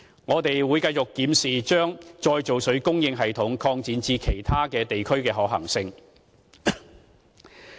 我們會繼續檢視把再造水供應系統擴展至其他地區的可行性。